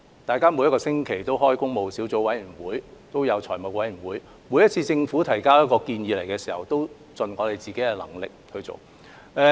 立法會每星期均舉行工務小組委員會和財務委員會會議，每次政府提交建議均盡力去做。